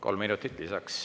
Kolm minutit lisaks.